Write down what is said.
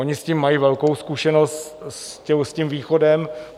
Oni s tím mají velkou zkušenost, s tím východem.